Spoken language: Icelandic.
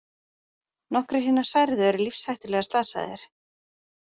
Nokkrir hinna særðu eru lífshættulega slasaðir